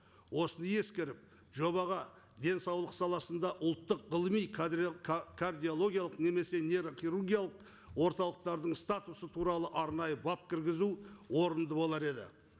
осыны ескеріп жобаға денсаулық саласында ұлттық ғылыми кардиологиялық немесе нейрохирургиялық орталықтардың статусы туралы арнайы бап кіргізу орынды болар еді